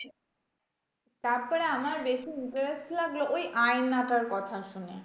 তারপরে আমার বেশি interest লাগলো ওই আয়নাটার কথা শুনে।